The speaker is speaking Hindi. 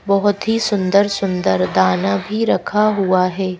बोहोत ही सुंदर- सुंदर दाना भी रखा हुआ है।